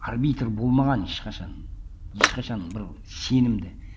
арбитр болмаған ешқашан ешқашан бір сенімді